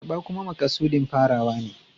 Karɓa kuma makasudin farawa ne.